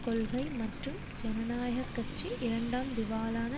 கொள்கை மற்றும் ஜனநாயக கட்சி இரண்டாம் திவாலான